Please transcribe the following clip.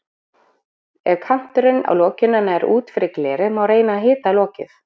Ef kanturinn á lokinu nær út fyrir glerið má reyna að hita lokið.